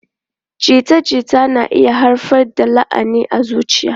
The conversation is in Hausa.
Jita-jita na iya haifar da lahani a zuciya.